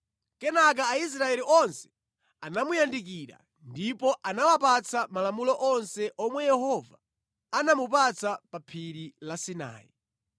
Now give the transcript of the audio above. Kenaka Aisraeli onse anamuyandikira, ndipo anawapatsa malamulo onse omwe Yehova anamupatsa pa Phiri la Sinai.